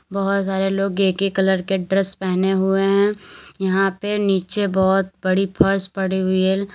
बहुत सारे लोग एक ही कलर के ड्रेस पहने हुए हैं यहां पे नीचे बहुत बड़ी फर्श पड़ी हुई है।